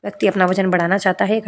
व्यक्ति अपना वजन बढ़ाना चाहता है --